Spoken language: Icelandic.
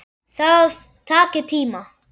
Það taki tíma.